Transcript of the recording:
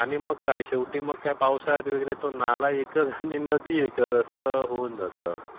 आणि मग काय? पावसाळ्यात नाला एकच आणि नदी एकच होऊन जाते.